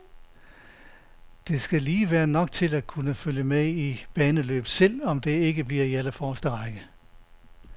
Det skulle lige være nok til at kunne følge med i baneløb, selv om det ikke bliver i allerforreste række.